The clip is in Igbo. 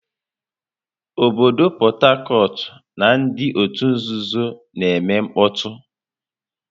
Obodo Port Harcourt na ndị otu nzuzo na-eme mkpọtụ.